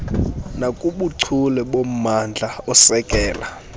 nakubuchule bommandla osekela